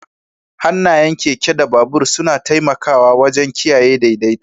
Hannayen keke da babur suna taimakawa wajen kiyaye daidaito.